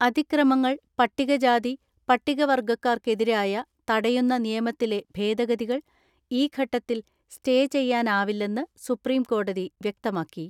അതിക്രമങ്ങൾ പട്ടികജാതി, പട്ടികവർഗ്ഗക്കാർക്കെതിരായ തടയുന്ന നിയമത്തിലെ ഭേദഗതികൾ ഈ ഘട്ടത്തിൽ സ്റ്റേ ചെയ്യാനാവില്ലെന്ന് സുപ്രീംകോടതി വ്യക്തമാക്കി.